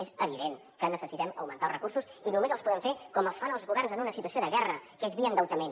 és evident que necessitem augmentar els recursos i només els podem fer com els fan els governs en una situació de guerra que es via endeutament